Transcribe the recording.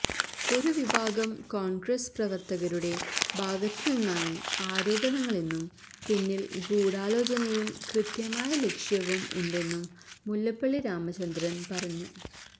ഒരു വിഭാഗം കോൺഗ്രസ് പ്രവർത്തകരുടെ ഭാഗത്ത് നിന്നാണ് ആരോപണങ്ങളെന്നും പിന്നിൽ ഗൂഢാലോചനയും കൃത്യമായ ലക്ഷ്യവും ഉണ്ടെന്നും മുല്ലപ്പള്ളി രാമചന്ദ്രൻ പറഞ്ഞു